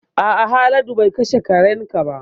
A'a Haladu be kashe karen ka ba